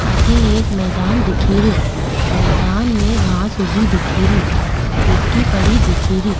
अठे एक मैदान दिखीरयो मैदान में घांस उगी दिखीरी मिट्टी पड़ी दिखीरी।